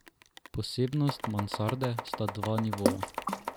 Posebnost mansarde sta dva nivoja.